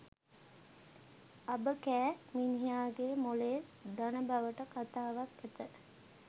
අබ කෑ මිනිහාගේ මොළේ දන බවට කතාවක් ඇත!